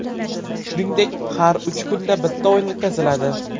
Shuningdek, har uch kunda bitta o‘yin o‘tkaziladi.